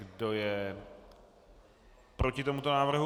Kdo je proti tomuto návrhu?